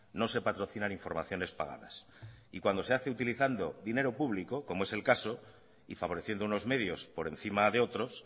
no se patrocinan informaciones pagadas y cuando se hace utilizando dinero público como es el caso y favoreciendo unos medios por encima de otros